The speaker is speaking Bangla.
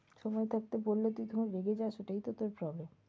সময় থাকতে বললে তুই যখন রেগে যাস এটাই তো তোর problem